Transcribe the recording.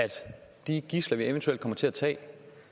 de gidsler vi eventuelt kommer til at tage